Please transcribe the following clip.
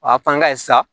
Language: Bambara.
O y'a fank'a ye sa